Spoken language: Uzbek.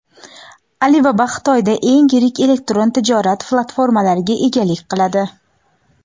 Alibaba Xitoyda eng yirik elektron tijorat platformalariga egalik qiladi.